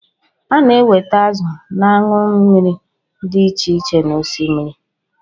A na-enweta azụ na anụ mmiri dị iche iche n'Osimiri